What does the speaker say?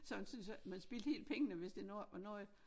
Så man syntes ikke man spildte helt pengene hvis det nu ikke var noget